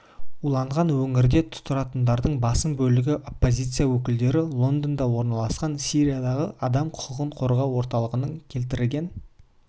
уланған өңірде тұратындардың басым бөлігі оппозиция өкілдері лондонда орналасқан сириядағы адам құқығын қорғау орталығының келтірген